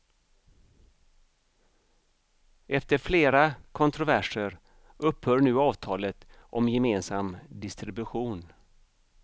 Efter flera kontroverser upphör nu avtalet om gemensam distribution.